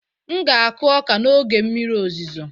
M ga-akụ ọka n'oge mmiri ozuzo